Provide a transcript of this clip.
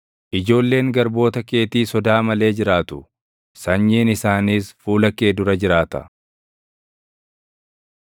Ijoolleen garboota keetii sodaa malee jiraatu; sanyiin isaaniis fuula kee dura jiraata.”